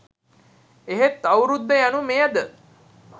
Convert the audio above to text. එහෙත් අවුරුද්ද යනු මෙයද